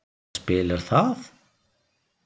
Hvað spil er það?